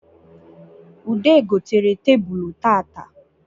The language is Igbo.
Ude gotere tebulu tata